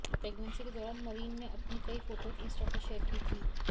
pregnancy के दौरान Marine ने अपनी कई फोटोज इंस्टा पर शेयर की थी